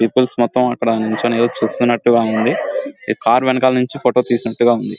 Peoples మొత్తం అక్కడి నించొని ఏదో చూస్తున్నట్టు గా ఉంది కారు వెనకాల నుంచి ఫోటో తీస్తున్నట్టుగా ఉంది.